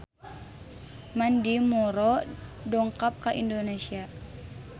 Mandy Moore dongkap ka Indonesia